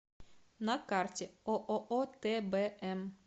на карте ооо тбм